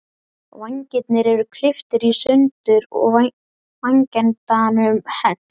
Vængirnir eru klipptir í sundur og vængendanum hent.